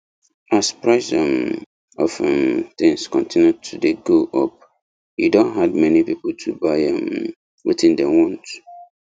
as price um of um things continue to dey go up e don hard many people to buy um wetin dem want